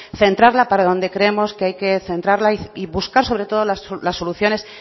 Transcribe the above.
centrarla para donde creemos que hay que centrarla y buscar sobre todo las soluciones